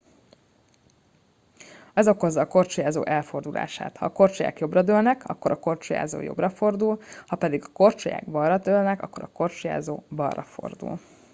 ez okozza a korcsolyázó elfordulását ha a korcsolyák jobbra dőlnek akkor a korcsolyázó jobbra fordul ha pedig a korcsolyák balra dőlnek akkor a korcsolyázó balra fordul